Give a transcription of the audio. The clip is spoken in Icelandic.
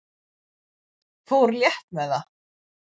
Fór létt með það.